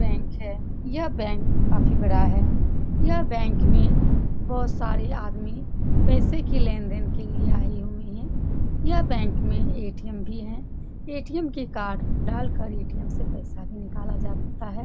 यह बैंक है यह बैंक काफी बढ़ा है यह बैंक में बहुत सारे आदमी पैसे के लेन-देन के लिए आए हुए हैं यह बैंक में ए.टी.एम. भी हैं ए.टी.एम. कार्ड डाल कर ए.टी.एम. से पैसा भी जाता है ।